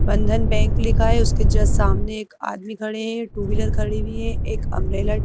बंधन बैंक लिखा है उसके जस्ट सामने एक आदमी खड़े हैं टू व्हीलर खड़ी हुई है एक अम्ब्रेला --